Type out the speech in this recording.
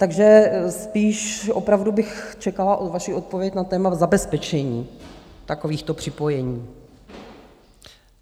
Takže spíš opravdu bych čekala vaši odpověď na téma zabezpečení takovýchto připojení.